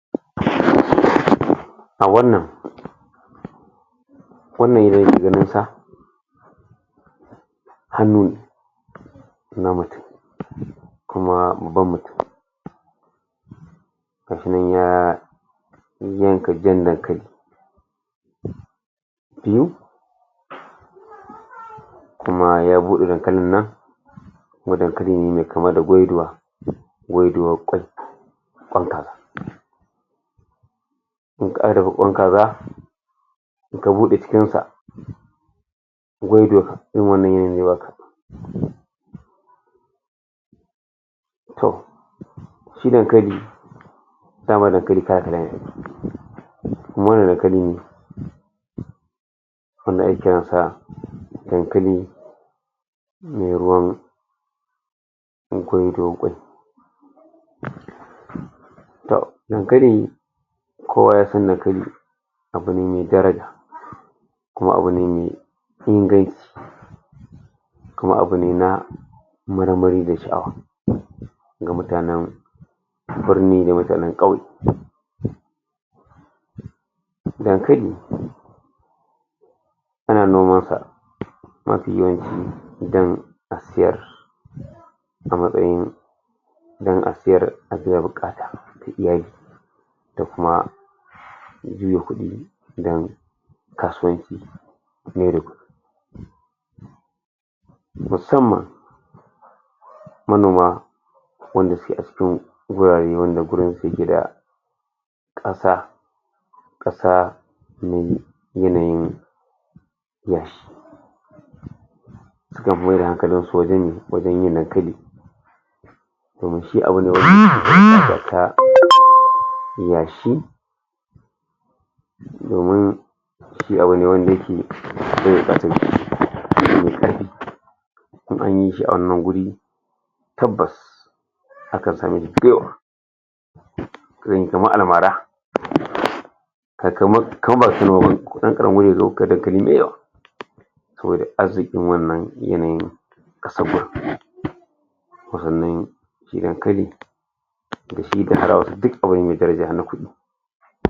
A wannan wannan hanyan na macce, kuma babban mutum. Hakan nan ya kashiyan dankali Yanzu, kuma ya bude dankalin nan kuma dankalin nan bai kamata Kun kara rikon kaza in ka bude jikin sa irin wannan yana yu'uwa haka To, shi dankali, daman dankali ne kuma wannan dankalin wanda ake yin sa dankali mai ruwan akwai To, dankalin kowa ya san dankali abun daraja kuma abu ne mai inganci. Kuma abu ne na marmari da sha'awa ga mutanen birni da mutanen kauye. Dankali ana noman sa a dan a sayar a matsayin dan a sayar a biya bukatar iyali da kuma kudi dan kasuwanci musamman manoma wanda suka wurare wanda wurin su yake da kasa, kasa yanayin akan su mayad da hankalin su wajen yin, wajen yin dankali domin shi abun da shi abu ne wanda yake in anyi shi a wannan wuri, tabbas akan same shi dayawa irin kamar al'mara kamar, kamar ba bane Dan karami ne dayawa arzikin wannan yanayin dankali